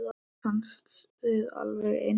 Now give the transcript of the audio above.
Mér fannst þið alveg eins.